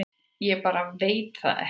Ég bara veit það ekki